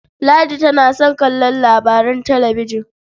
Ladi tana son kallon labaran talabijin.